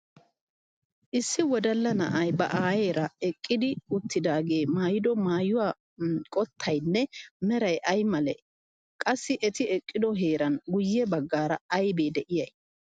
Issi wodalla na'ay ba aayeera eqqidi uttidaagee maayido maayuwa qottayinne meray ay malee? Qassi eti eqqido heeran guyye baggaara aybee de'iyay?